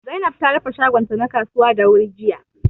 Zainab ta rufe shagon ta na kasuwa da wuri jiya